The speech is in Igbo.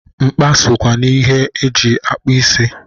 Nkpa sokwa n'ihe e ji akpụ isi.